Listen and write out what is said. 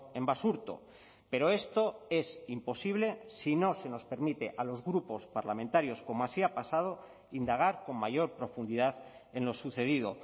en basurto pero esto es imposible si no se nos permite a los grupos parlamentarios como así ha pasado indagar con mayor profundidad en lo sucedido